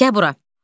Gəl bura.